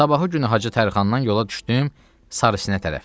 Sabahı günü Hacı Tərxandan yola düşdüm Sarısinə tərəf.